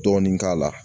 Dɔɔnin k'a la